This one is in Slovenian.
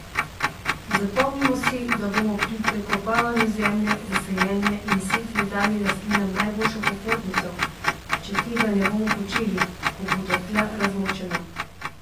Zapomnimo si, da bomo pri prekopavanju zemlje za sajenje in setve dali rastlinam najboljšo popotnico, če tega ne bomo počeli, ko bodo tla razmočena.